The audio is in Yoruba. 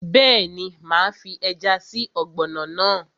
Bẹ́ẹ̀ni, máa fi ẹja sí ọ̀gbọ̀nọ̀ náà